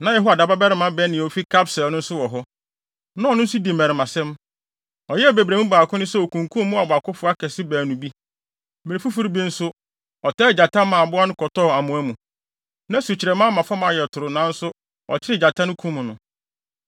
Na Yehoiada babarima Benaia a ofi Kabseel no nso wɔ hɔ. Na ɔno nso di mmarimasɛm. Ɔyɛɛ bebree a emu baako ne sɛ okunkum Moab akofo akɛse baanu bi. Bere foforo bi nso, ɔtaa gyata maa aboa no kɔtɔɔ amoa mu. Na sukyerɛmma ama fam ayɛ toro nanso ɔkyeree gyata no kum no.